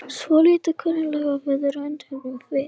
Svolítið klunnalega, viðurkenndum við.